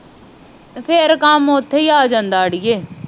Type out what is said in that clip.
ਤੇ ਫੇਰ ਕਾਮ ਉਥੇ ਹੀ ਆ ਜਾਂਦਾ ਅੜੀਏ